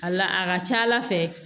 A la a ka ca ala fɛ